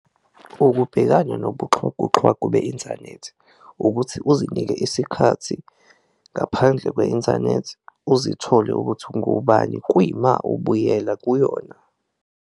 Ukubhekana nobudlwangudlwangu be-inthanethi ukuthi uzinike isikhathi ngaphandle kwe-inthanethi uzithole ukuthi ungubani kuyima ubuyela kuyona.